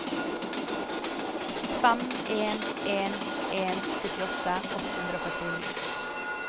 fem en en en syttiåtte åtte hundre og førtini